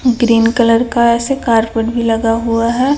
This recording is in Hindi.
ग्रीन कलर का ऐसे कारपेट भी लगा हुआ है।